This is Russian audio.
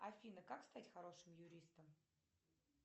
афина как стать хорошим юристом